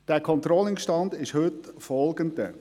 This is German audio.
Der Controlling-Stand ist der folgende: